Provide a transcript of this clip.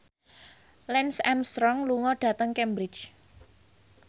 Lance Armstrong lunga dhateng Cambridge